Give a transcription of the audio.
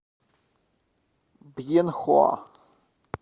бьенхоа